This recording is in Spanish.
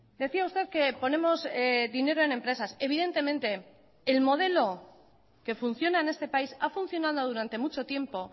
decía usted que ponemos dinero en empresas evidentemente el modelo que funciona en este país ha funcionado durante mucho tiempo